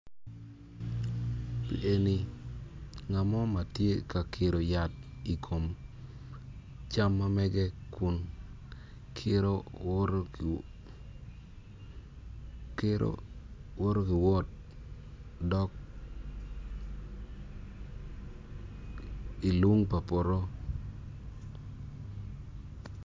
Lieni ngat mo ma tye ka kiro yat i kom cam ma mege kun kiro woto ki woto ki wot dok i lung pa poto.